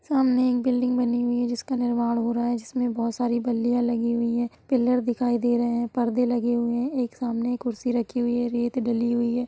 सामने एक बिल्डिंग बनी हुई है जिसका निर्माण हो रहा है| जिसमें बहुत सारी बलिया लगी हुई है| पीलर दिखाई दे रहे हैं| पर्दे लगे हुए हैं| एक सामने कुर्सी रखी हुई है| रेत डाली हुई है।